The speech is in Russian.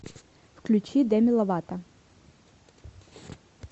включи дэми ловато